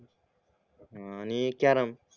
आणि कॅरम